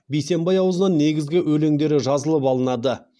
бейсембай аузынан негізгі өлеңдері жазылып алынады